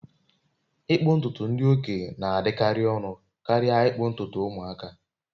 ịkpụ ntutu ndị okenye na-adịkarị ọnụ karịa ịkpụ ntutu ụmụaka